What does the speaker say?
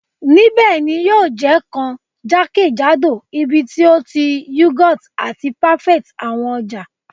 Nibẹ ni yio je kan jakejado ibiti o ti yougurt ati parfaits awọn ọja